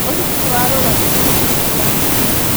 ũhiki nĩwarũgamio nĩ mũhunjia